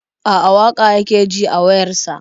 A'a, waƙa yake ji a wayar sa.